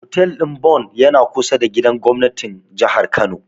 Hotel ɗin Bon yana kusa da gidan gobnatin Jihar Kano.